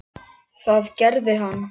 Það gerði hann.